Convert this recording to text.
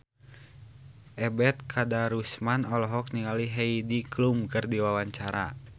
Ebet Kadarusman olohok ningali Heidi Klum keur diwawancara